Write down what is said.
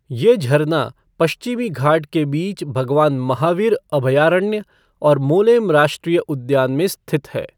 ये झरना पश्चिमी घाट के बीच भगवान महावीर अभयारण्य और मोलेम राष्ट्रीय उद्यान में स्थित है।